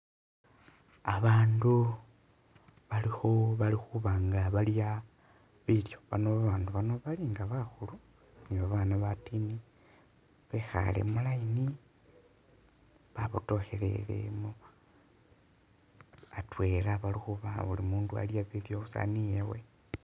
Abandu balikhu balikhuba nga balya bilyo ano babandu bano balinga bakhulu ni babana batiini bekhale mu'line babotokhelele atwela balikhubawa buli'mundu Abe ni'saani yewe